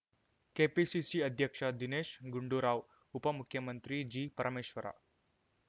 KPCC ಅಧ್ಯಕ್ಷ ದಿನೇಶ್ ಗುಂಡೂರಾವ್ ಉಪ ಮುಖ್ಯಮಂತ್ರಿ ಜಿ ಪರಮೇಶ್ವರ